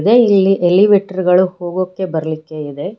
ಇಲ್ಲಿ ಎಲಿವೇಟರ್ಗಳು ಹೋಗೋಕೆ ಬರ್ಲಿಕ್ಕೆ ಇದೆ.